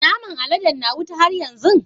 Naman aladen na wuta har yanzu?